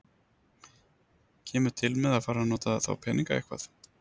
Kemur til með að fara að nota þá peninga eitthvað?